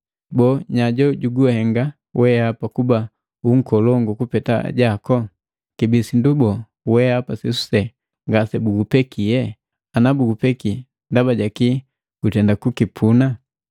Boo nya jo juguhenga wehapa kuba unkolongu kupeta ajaku? Kibii sindu boo wehapa sesuse ngasebugupekie? Ana bugupeki ndaba ja kii gutenda kukipuna?